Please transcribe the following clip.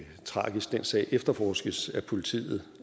tragisk den sag efterforskes af politiet